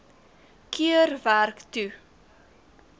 keer werk toe